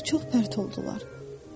Güllər çox pərt oldular.